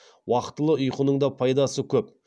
уақтылы ұйқының да пайдасы көп